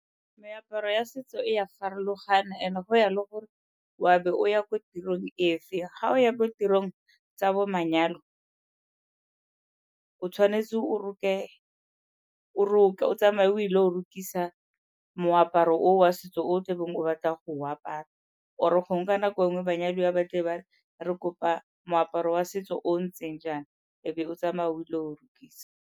Meaparo e a setso e ya farologana and-e go ya le gore o a be o ya ko tirong efe. Ga o ya ko tirong tsa bo manyalo o tshwanetse o roke, o tsamaye o ile go rokisa moaparo oo wa setso o o tlabeng o batla go o apara. Or-e gongwe ka nako e nngwe banyadiwa ba tlebe ba re re kopa moaparo wa setso o o ntseng jaana, e be o tsamaye o ile go rokisa.